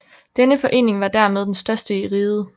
Denne forening var dermed den største i riget